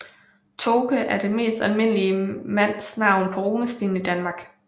Toke er det mest almindelige mandsnavn på runesten i Danmark